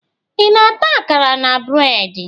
Ị na-ata akara na breedi?